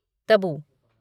Tabu